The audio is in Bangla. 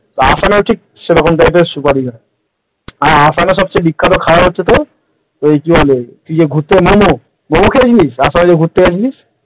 আসামে হচ্ছে সেরকম type র সুপারি গাছ আর আসামের সবচেয়ে বিখ্যাত খাবার হচ্ছে তোর এই কি বলে মোমো, মোমো খেয়ে ছিলিস? আসামে যখন ঘুরতে গেছিলিস